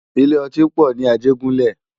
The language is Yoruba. Ilé òtín pò ni Ajegunle